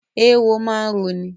Eéwó máa ń roni.